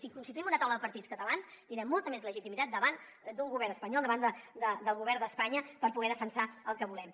si constituïm una taula de partits catalans tindrem molta més legitimitat davant d’un govern espanyol davant del govern d’espanya per poder defensar el que volem